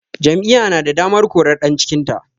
Jam'iyya na da damar korar ɗan cikinta